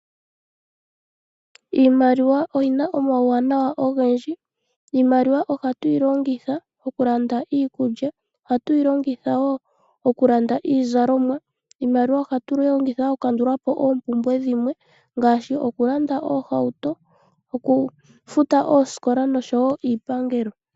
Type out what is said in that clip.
Iimaliwa oyina omawuwanawa ogendji, iimaliwa otu yilongitha okulanda iikulya , ohatu yilongitha wo okulanda iizalomwa , iimaliwa ohatu yilongitha okukandulapo ompumbwe dhimwe ngaashi okulanda oohauto , okufuta ooskola oshowo iipangelo.